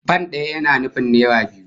Fan daya yana nufin naira biyu